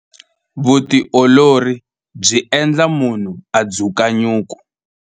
Vutiolori byi endla munhu a dzuka nyuku.